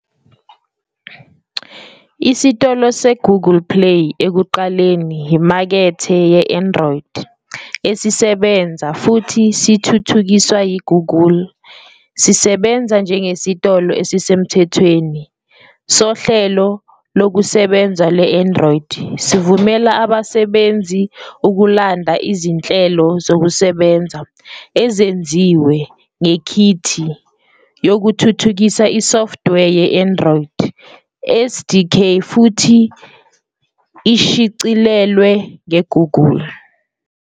Isitolo seGoogle Play, ekuqaleni iMakethe ye-Android, esisebenza futhi sithuthukiswa yiGoogle, sisebenza njengesitolo esisemthethweni sohlelo lokusebenza lwe-Android, sivumela abasebenzisi ukulanda izinhlelo zokusebenza ezenziwe ngekhithi yokuthuthukisa isoftware ye-Android, SDK, futhi ishicilelwe ngeGoogle.